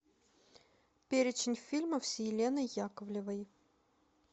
перечень фильмов с еленой яковлевой